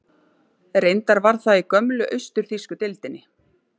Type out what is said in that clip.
Reyndar var það í gömlu austur-þýsku deildinni.